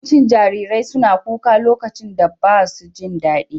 Yawancin jarirai suna kuka lokacin da ba su jin daɗi.